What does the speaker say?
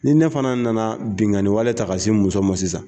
Ni ne fana nana binnkanni wale ta ka se n muso ma sisan